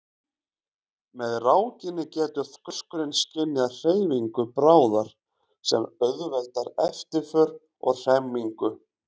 Með rákinni getur þorskurinn skynjað hreyfingu bráðar sem auðveldar eftirför og hremmingu.